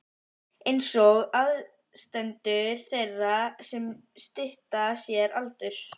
einsog aðstandendur þeirra sem stytta sér aldur.